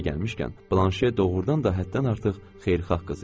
Yeri gəlmişkən, Blanşe doğurdan da həddən artıq xeyirxah qız idi.